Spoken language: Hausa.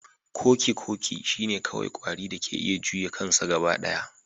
Kokikoki shine kawai kwari da ke iya juya kansa gaba ɗaya